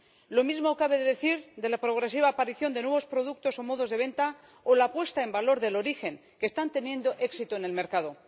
Lo mismo cabe decir de la progresiva aparición de nuevos productos o modos de venta, o la puesta en valor del origen, que están teniendo éxito en el mercado.